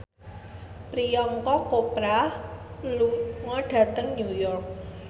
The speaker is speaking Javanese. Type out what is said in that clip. Priyanka Chopra lunga dhateng New York